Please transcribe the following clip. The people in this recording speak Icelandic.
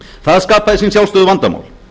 það skapaði sín sjálfsögðu vandamál